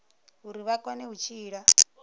uri vha kone u tshila